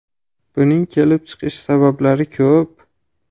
Buning kelib chiqish sabablari ko‘p.